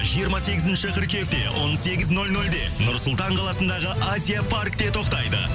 жиырма сегізінші қыркүйекте он сегіз нөл нөлде нұр сұлтан қаласындағы азия паркте тоқтайды